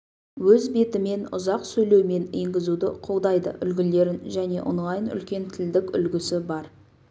өз бетімен ұзақ сөйлеумен енгізуді қолдайды үлгілерін және онлайн үлкен тілдік үлгісі бар